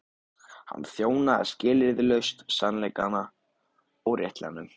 Hann þjónaði skilyrðislaust sannleikanum og réttlætinu.